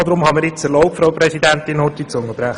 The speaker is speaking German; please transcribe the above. Deshalb habe ich mir erlaubt, kurz zu unterbrechen.